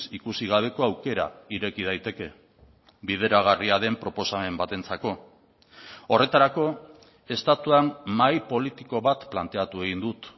ikusi gabeko aukera ireki daiteke bideragarria den proposamen batentzako horretarako estatuan mahai politiko bat planteatu egin dut